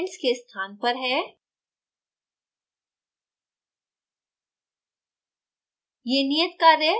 table of contents के स्थान पर है